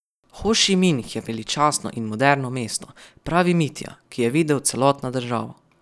Hošiminh je veličastno in moderno mesto, pravi Mitja, ki je videl celotno državo.